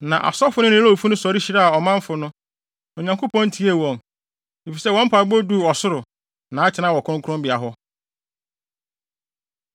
Na asɔfo no ne Lewifo no sɔre hyiraa ɔmanfo no, na Onyankopɔn tiee wɔn, efisɛ wɔn mpaebɔ duu ɔsoro, nʼatenae wɔ kronkronbea hɔ.